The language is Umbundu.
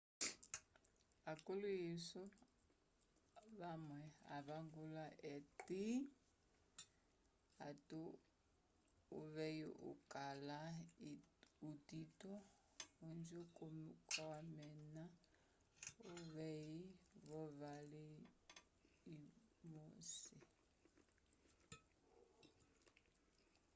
akulihinso amwe avangula ati uvei ukala utito ojo kawnena uvei volwali lwosi